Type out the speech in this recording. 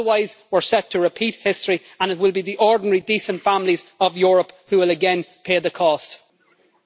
Otherwise we are set to repeat history, and it will be the ordinary, decent families of Europe who will again pay the price.